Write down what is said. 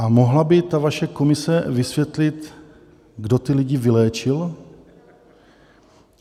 A mohla by ta vaše komise vysvětlit, kdo ty lidi vyléčil?